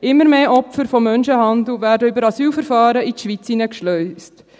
Immer mehr Opfer des Menschenhandels werden über Asylverfahren in die Schweiz eingeschleust.